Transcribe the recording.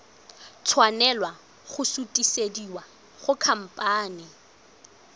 tshwanela go sutisediwa go khamphane